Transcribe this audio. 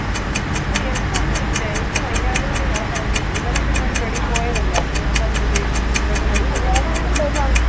O എന്നും ഒന്നും ഇല്ല എനിക്ക് വയ്യാഞ്ഞോണ്ട് ഞാൻ പറഞ്ഞ് ഇന്നലെ പിന്നെ അവര് വെളിയിൽ പോയതല്ലെ അപ്പൊ ഞാൻ പറഞ്ഞ് മേടിച്ചിട്ട് വരാൻ.